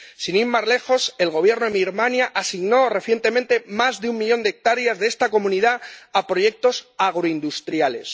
Sin ir más lejos, el Gobierno de Myanmar Birmania asignó recientemente más de un millón de hectáreas de esta comunidad a proyectos agroindustriales.